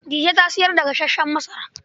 Dije ta sayar da gasassen masara.